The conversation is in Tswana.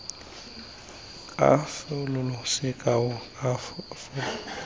kalafo sekao karo dira kopo